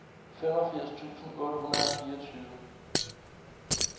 femogfirs tusind otte hundrede og fireogtyve